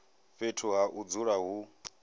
fhethu ha u dzula hu